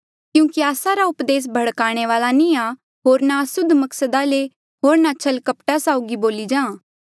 क्यूंकि आस्सा रा उपदेस भड़काने वाल्आ नी आ होर ना असुद्ध मकसदा ले होर ना छल कपटा साउगी बोली जां